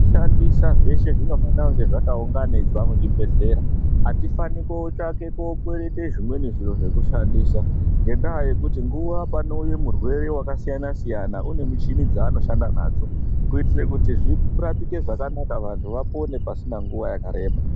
Zvishandisa zveshe zvinofanira kunge zvakaunganidzwa muchibhedhlera. Hatifani kotsvake kokwerete zvimweni zviro zvekushandisa, ngendaa yekuti nguwa panouye murwere wakasiyana-siyana, une muchini dzaanoshanda nadzo, kuitire kuti zvirapike zvakanaka vantu vapone pasina nguwa yakareba.